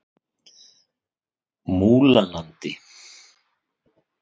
Múlalandi